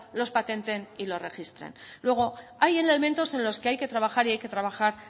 los patenten y los registren luego hay elementos en los que hay que trabajar y hay que trabajar